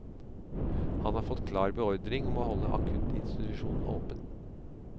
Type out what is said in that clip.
Han har fått klar beordring om å holde akuttinstitusjonen åpen.